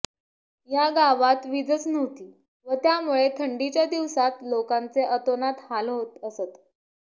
या गावात वीजच नव्हती व त्यामुळे थंडीच्या दिवसांत लोकांचे अतोनात हाल होत असत